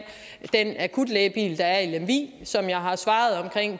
den akutlægebil der er i lemvig og som jeg har svaret omkring